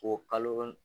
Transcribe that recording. O kalo